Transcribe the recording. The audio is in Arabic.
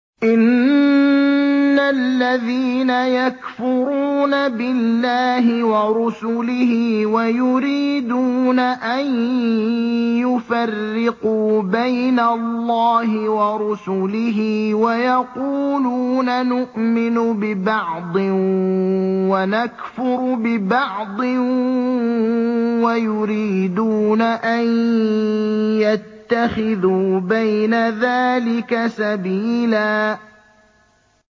إِنَّ الَّذِينَ يَكْفُرُونَ بِاللَّهِ وَرُسُلِهِ وَيُرِيدُونَ أَن يُفَرِّقُوا بَيْنَ اللَّهِ وَرُسُلِهِ وَيَقُولُونَ نُؤْمِنُ بِبَعْضٍ وَنَكْفُرُ بِبَعْضٍ وَيُرِيدُونَ أَن يَتَّخِذُوا بَيْنَ ذَٰلِكَ سَبِيلًا